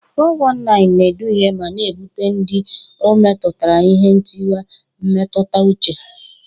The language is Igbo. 419 na-eduhie ma na-ebute ndị ọ metụtara ihe ntiwa mmetụta uche.